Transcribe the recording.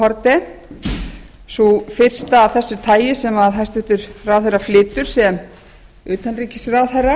haarde sú fyrsta af þessu tagi sem hæstvirtur ráðherra flytur sem utanríkisráðherra